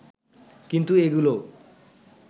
কিন্তু এগুলোও